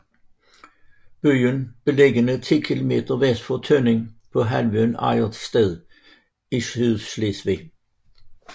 Byen er beliggende ti kilometer vest for Tønning på halvøen Ejdersted i Sydslesvig